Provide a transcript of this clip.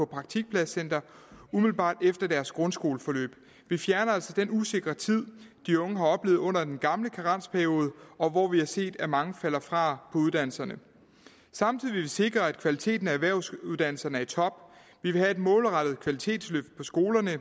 praktikpladscenter umiddelbart efter deres grundskoleforløb vi fjerner altså den usikre tid de unge har oplevet under den gamle karensperiode hvor vi har set at mange falder fra på uddannelserne samtidig vil vi sikre at kvaliteten af erhvervsuddannelserne er i top vi vil have et målrettet kvalitetsløft på skolerne